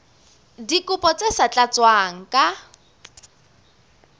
dikopo tse sa tlatswang ka